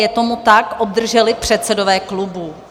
Je tomu tak, obdrželi předsedové klubů?